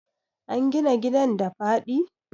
an gina gidan da faɗi?